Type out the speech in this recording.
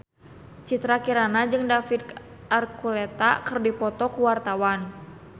Citra Kirana jeung David Archuletta keur dipoto ku wartawan